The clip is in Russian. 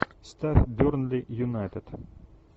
ставь бернли юнайтед